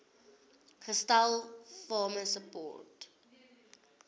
gestel farmer support